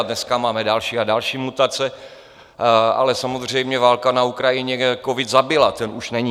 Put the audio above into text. A dneska máme další a další mutace, ale samozřejmě válka na Ukrajině covid zabila, ten už není.